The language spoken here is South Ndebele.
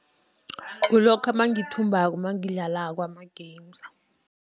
Kulokha nangithumbako nangidlalako ama-games.